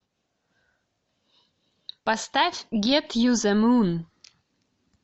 поставь гет ю зе мун